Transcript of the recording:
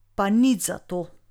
Pa nič zato.